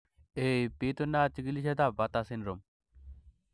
Ei, bitunat chikilisietab Bartter syndrome.